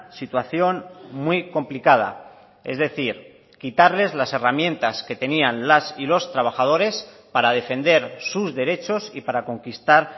situación muy complicada es decir quitarles las herramientas que tenían las y los trabajadores para defender sus derechos y para conquistar